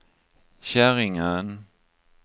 Käringön